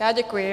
Já děkuji.